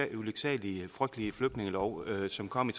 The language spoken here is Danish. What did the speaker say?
den ulyksalige og frygtelige flygtningelov som kom i